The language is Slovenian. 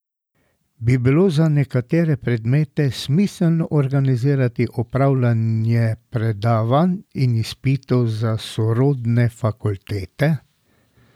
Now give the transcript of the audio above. Bi bilo za nekatere predmete smiselno organizirati opravljanje predavanj in izpitov za sorodne fakultete?